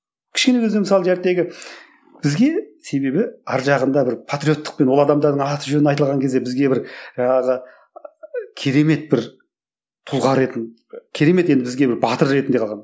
кішкене бізде мысалы бізге себебі арғы жағында бір патриоттықпен ол адамдардың аты жөні айтылған кезде бізге бір жаңағы керемет бір тұлға ретінде керемет енді бізге бір батыр ретінде қалған